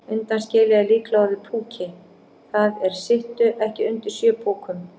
Undanskilið er líklega orðið púki, það er sittu ekki undir sjö púkum.